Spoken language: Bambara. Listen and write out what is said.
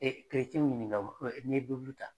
E e ɲininka n'i ye Bibulu ta.